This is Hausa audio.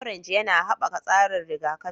Orange yana haɓaka tsarin rigakafi